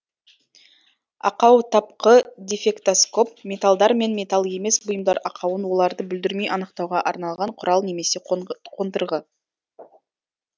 ақаутапқы дефектоскоп металдар мен металл емес бұйымдар ақауын оларды бүлдірмей анықтауға арналған құрал немесе қондырғы